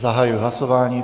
Zahajuji hlasování.